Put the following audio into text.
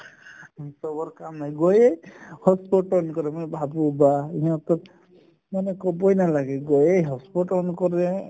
চবৰ কাম শেষ কৰি hotspot on কৰে মই ভাবো বাহ! সিহঁতক মানে ক'বয়ে নালাগে গৈয়ে hotspot on কৰে